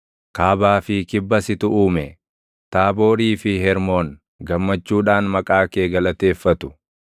Kaabaa fi kibba situ uume; Taaboorii fi Hermoon gammachuudhaan // maqaa kee galateeffatu.